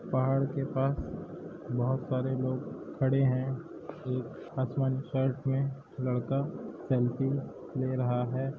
पहाड़ के पास बहोत सारे लोग खड़े हैं एक आसमानी शर्ट में लड़का सेल्फी ले रहा है।